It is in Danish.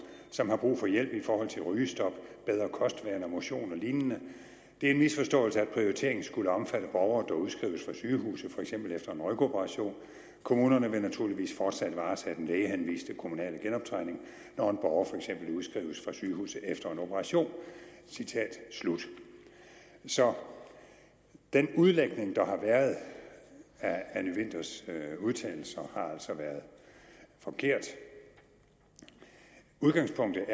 som har brug for hjælp i forhold til rygestop bedre kostvaner motion og lignende det er en misforståelse at prioriteringen skulle omfatte borgere der udskrives fra sygehuset fx efter en rygoperation kommunerne vil naturligvis fortsat varetage den lægehenviste kommunale genoptræning når en borger fx udskrives fra sygehuset efter en operation … så den udlægning der har været af anny winthers udtalelser har altså været forkert udgangspunktet